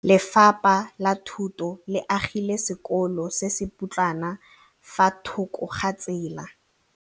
Lefapha la Thuto le agile sekôlô se se pôtlana fa thoko ga tsela.